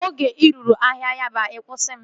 Oge ị ruru ahịa Yaba, kwusaa m